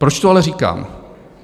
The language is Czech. Proč to ale říkám?